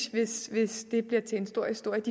hvis det blev til en stor historie